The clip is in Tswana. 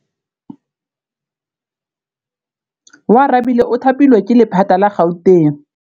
Oarabile o thapilwe ke lephata la Gauteng.